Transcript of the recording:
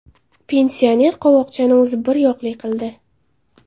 Pensioner qovoqchani o‘zi biryoqli qildi.